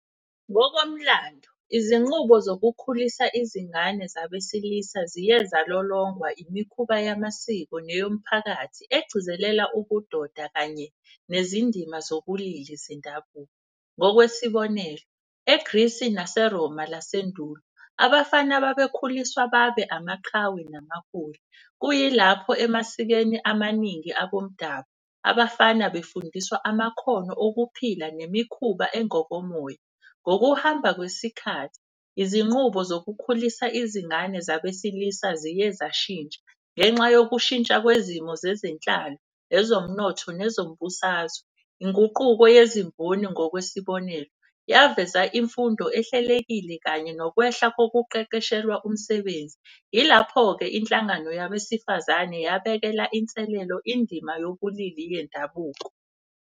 Ngokomlando, izinqubo zokukhulisa izingane zabesilisa ziye zalolongwa, imikhuba yamasiko. Neyomphakathi egcizelela ubudoda kanye nezindima zobulili zendabuko. Ngokwesibonelo, eGrisi naseRoma lwasendulo, abafana babekhuliswa babe amaqhawe namaholi. Kuyilapho emasikweni amaningi abomdabu, abafana befundiswa amakhono okuphila nemikhuba engokomoya. Ngokuhamba kwesikhathi izinqubo zokukhulisa izingane zabesilisa ziye zashintsha. Ngenxa yokushintsha kwesimo zezenhlalo, ezomnotho, nezombusazwe. Inguquko yezimboni ngokwesibonelo, yaveza imfundo ehlelekile kanye nokwehla kokuqeqeshelwa umsebenzi. Yilapho-ke inhlangano yabesifazane yabekela inselelo indima yobulili bendabuko.